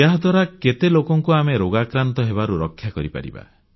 ଏହାଦ୍ୱାରା କେତେ ଲୋକଙ୍କୁ ଆମେ ରୋଗାକ୍ରାନ୍ତ ହେବାରୁ ରକ୍ଷା କରିପାରିବା